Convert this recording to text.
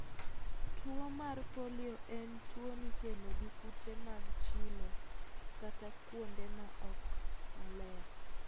Tuwo mar polio en tuwo mikelo gi kute mag chilo katakuonde ma okmaler.